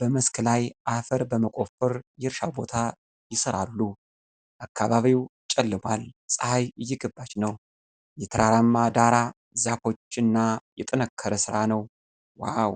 በመስክ ላይ አፈር በመቆፈር የእርሻ ቦይ ይሠራሉ። አካባቢው ጨልሟል፣ ፀሐይ እየገባች ነው። የተራራማ ዳራ፣ ዛፎች እና የጠነከረ ሥራ ነው ዋው!።